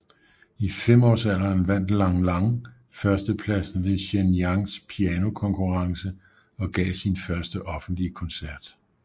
I femårsalderen vandt Lang Lang førstepladsen ved Shenyangs Pianokonkurrence og gav sin første offentlige koncert